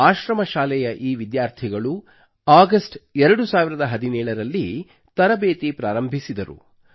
ಆಶ್ರಮ ಶಾಲೆಯ ಈ ವಿದ್ಯಾರ್ಥಿಗಳು ಆಗಸ್ಟ್ 2017 ರಲ್ಲಿ ತರಬೇತಿ ಪ್ರಾರಂಭಿಸಿದರು